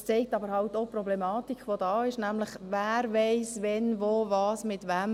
Es zeigt aber eben auch die Problematik, die es gibt, nämlich: Wer weiss, wann wo was mit wem?